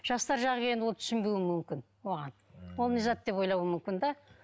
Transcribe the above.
жастар жағы келгенде ол түсінбеуі мүмкін оған ол не зат деп ойлауы мүмкін де